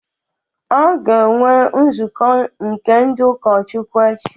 A ga-enwe nzukọ nke ndị ụkọchukwu echi